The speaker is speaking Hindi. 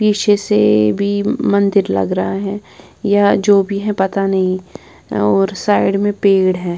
पीछे से भी मंदिर लग रहा है या जो भी है पता नहीं और साइड में पेड़ है।